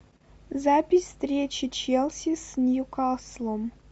запись встречи челси с ньюкаслом